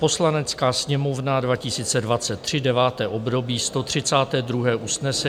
"Poslanecká sněmovna 2023, 9. období, 132. usnesení...